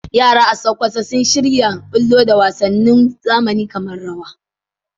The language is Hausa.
Yara a Sokoto sun shirya bullo da wasannin zamani kamar wasannin rawa